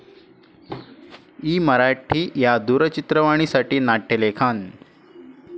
E Marathi या दूरचित्रवाणी साठी नाट्यलेखन